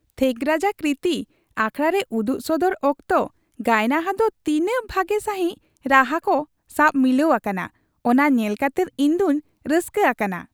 ᱛᱷᱮᱜᱨᱟᱡᱟ ᱠᱨᱤᱛᱤ ᱟᱠᱷᱟᱲᱟ ᱨᱮ ᱩᱫᱩᱜ ᱥᱚᱫᱚᱨ ᱚᱠᱛᱚ ᱜᱟᱭᱱᱟᱦᱟ ᱫᱚ ᱛᱤᱱᱟᱹᱜ ᱵᱷᱟᱜᱮ ᱥᱟᱹᱦᱤᱡ ᱨᱟᱹᱲᱟᱱᱠᱚ ᱥᱟᱣᱮ ᱢᱤᱞᱟᱹᱣ ᱟᱠᱟᱱᱟ ᱚᱱᱟ ᱧᱮᱞ ᱠᱟᱛᱮᱫ ᱤᱧ ᱫᱚᱧ ᱨᱟᱹᱥᱠᱟᱹ ᱟᱠᱟᱱᱟ ᱾